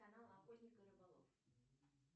канал охотник и рыболов